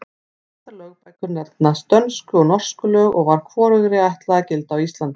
Þessar lögbækur nefnast Dönsku og Norsku lög og var hvorugri ætlað að gilda á Íslandi.